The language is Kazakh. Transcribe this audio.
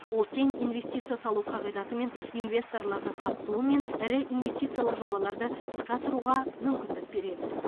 ол тең инвестиция салу қағидатымен инвесторлардың қатысуымен ірі инвестициялық жобаларды іске асыруға мүмкіндік береді